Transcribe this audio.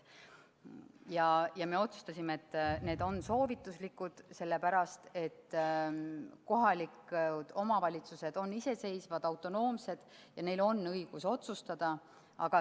Ja me otsustasime, et need on soovituslikud, sellepärast et kohalikud omavalitsused on iseseisvad, autonoomsed ja neil on õigus otsustada.